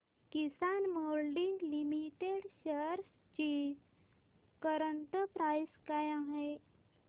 किसान moulding limited shares ची current price काय आहे